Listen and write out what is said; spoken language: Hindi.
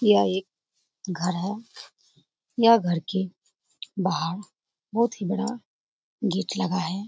यह एक घर है यह घर के बाहर बहुत ही बड़ा गेट लगा है ।